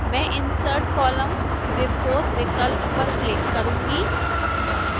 मैं insert columns before विकल्प पर click करूंगी